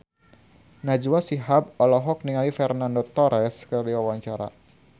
Najwa Shihab olohok ningali Fernando Torres keur diwawancara